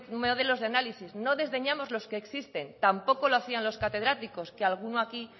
modelos de análisis no desdeñamos los que existen tampoco lo hacían los catedráticos que alguno aquí